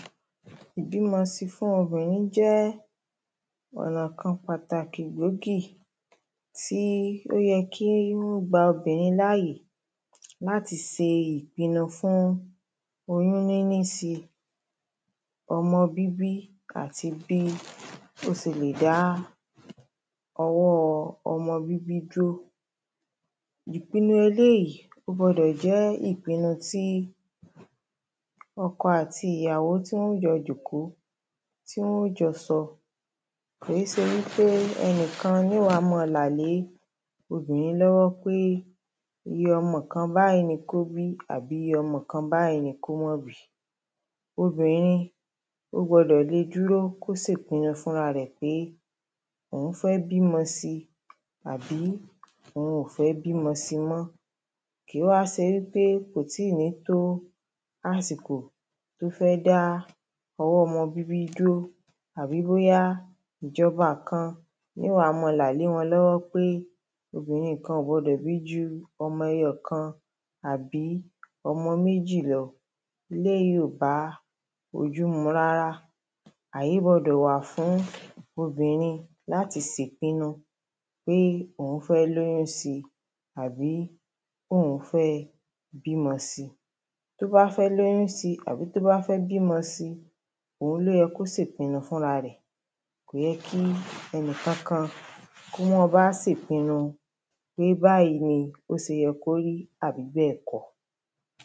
ìbímọ síi fún obìnrin jẹ́ ọ̀nà kan pàtàkì gbòógì tí ó yẹ kí ó gba obìnrin láàyè láti ṣe ìpinu fún oyún nínísíi ọmọ bíbí, àti bí ó ṣe lè dá ọwọ́ ọmọ bíbí dúró ìpinu eléyìí, ó gbọ́dọ̀ jẹ́ ìpinu tí ọkọ àti ìyàwó, tí wọ́n jọ jókòó, tí wọ́n jọ sọ, kòó ṣe wípé ẹnìkan ní ó wá máa là lé obìnrin lọ́wọ́ pé iye ọmọ kan báyìí ni kó bí àbí iye ọmọ kan báyìí ni kò má bìí obìnrin ó gbọ́dọ̀ lè dúrò kí ó ṣe ìpinu fún ara rẹ̀ wípé òún fẹ́ bímọ síi àbí òun ò fẹ́ bímọ síi mọ́ kìí wá ṣe wípé kò tìí nìí tó àsìkò tó fẹ́ dá ọwọ́ ọmọ bíbí dúró àbí bóyá ìjọba kan ni ó wá máa là lé wọn lọ́wọ́ wípé obìnrin kan ò gbọdọ̀ bí ju ọmọ ẹyọkan àbí ọmọ méjì lọ eléyìí ò bá ojú mu rárá, àyè gbọ́dọ̀ wà fún obìnrin láti ṣèpinu pé òún fẹ́ lóyún síi àbí òún fẹ́ bímọ síi tí ó bá fẹ́ lóyún síi àbí tó bá fẹ́ bímọ síi, òun ló yẹ kó ṣe ìpinu fúnra rẹ̀, kò yẹ kí ẹnìkọkan kí wọ́n báa ṣèpinu pé báyìí ní ó ṣe yẹ kó rí àbí bẹ́ẹ̀ kọ́